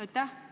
Aitäh!